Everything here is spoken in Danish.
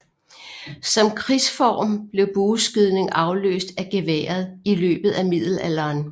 Som krigsform blev bueskydning afløst af geværet i løbet af middelalderen